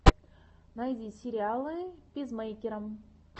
найди сериалы пизмэйкера